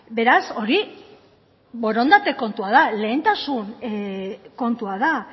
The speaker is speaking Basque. beraz hori borondate kontua da lehentasun kontua da